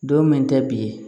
Don min tɛ bilen